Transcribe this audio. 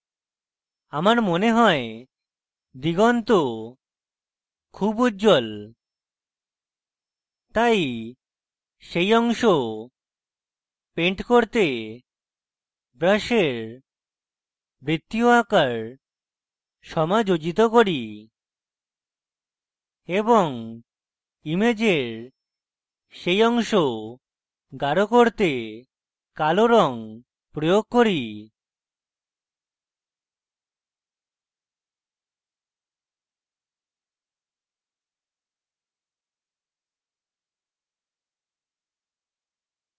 আমার মনে হয় দিগন্ত খুব উজ্জ্বল তাই সেই অংশ paint করতে brush বৃত্তীয় আকার সমাযোজিত করি এবং ইমেজের সেই অংশ গাঢ় করতে কালো রং প্রয়োগ করি